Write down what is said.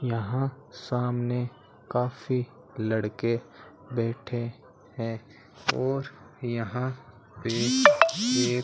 यहां सामने काफी लड़के बैठे हैं और यहां पर एक --